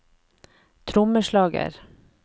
trommeslager